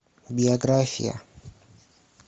биография